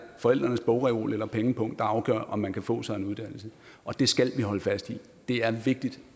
forældrenes bogreol eller pengepung der afgør om man kan få sig en uddannelse og det skal vi holde fast i det er vigtigt